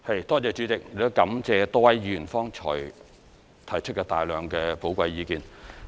代理主席，感謝多位議員剛才提出大量的寶貴意見。